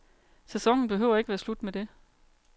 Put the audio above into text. Sæsonen behøver ikke at være slut med det.